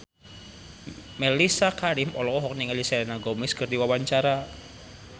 Mellisa Karim olohok ningali Selena Gomez keur diwawancara